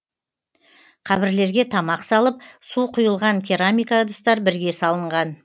қабірлерге тамақ салып су құйылған керамика ыдыстар бірге салынған